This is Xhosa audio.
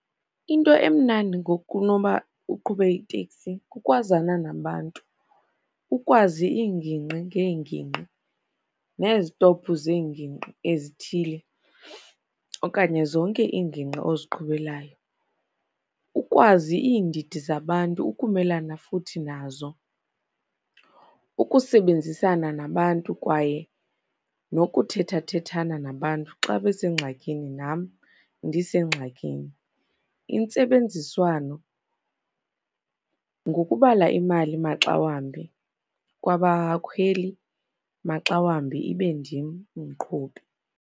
Into emnandi ngokunoba uqhube iteksi, kukwazana nabantu, ukwazi iingingqi ngeengingqi nezistophu zeengingqi ezithile okanye zonke iingingqi oziqhubelayo. Ukwazi iindidi zabantu, ukumelana futhi nazo, ukusebenzisana nabantu kwaye nokuthethathethana nabantu xa besengxakini, nam ndisengxakini. Intsebenziswano ngokubala imali maxawambi kwabakhweli, maxawambi ibe ndim umqhubi.